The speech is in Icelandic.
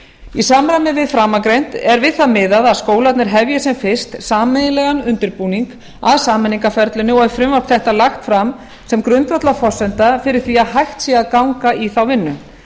í samræmi við framangreint er við það miðað að skólarnir hefji sem fyrst sameiginlegan undirbúning að sameiningarferlinu og er frumvarp þetta lagt fram sem grundvallarforsenda fyrir því að hægt sé að ganga í þá vinnu